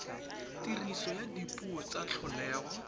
tiriso ya dipuo tsa tlholego